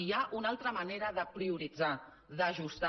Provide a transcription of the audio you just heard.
hi ha una altra manera de prioritzar d’ajustar